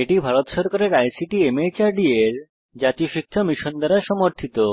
এটি ভারত সরকারের ICT MHRD এর জাতীয় শিক্ষা মিশন দ্বারা সমর্থিত